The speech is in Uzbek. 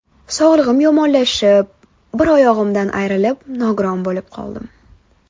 Sog‘ligim yomonlashib, bir oyog‘imdan ayrilib nogiron bo‘lib qoldim.